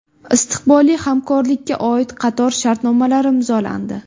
Istiqbolli hamkorlikka oid qator shartnomalar imzolandi.